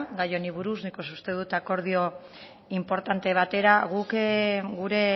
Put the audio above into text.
gai honi buruz nik uste dut akordio inportante batera guk gure